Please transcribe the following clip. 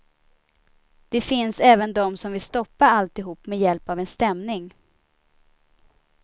Det finns även de som vill stoppa alltihop med hjälp av en stämning.